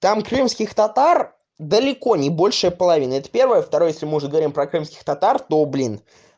там крымских татар далеко не большая половина это первое второе если мы уж говорим про крымских татар то блин